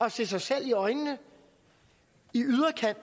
at se sig selv i øjnene